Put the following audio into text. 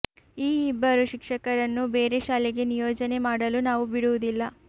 ಈ ಇಬ್ಬರು ಶಿಕ್ಷಕರನ್ನು ಬೇರೆ ಶಾಲೆಗೆ ನಿಯೋಜನೆ ಮಾಡಲು ನಾವು ಬಿಡುವುದಿಲ್ಲ